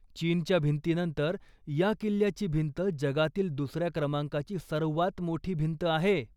चीनच्या भिंतीनंतर, या किल्ल्याची भिंत जगातील दुसऱ्या क्रमांकाची सर्वात मोठी भिंत आहे.